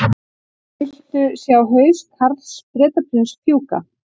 Vildu sjá haus Karls Bretaprins fjúka